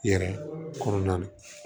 Yɛrɛ kɔnɔna na